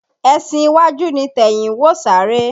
Ẹsin iwájú ni tẹ̀yìn ń wò sáré